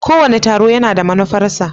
Kowane taro yana da manufarsa.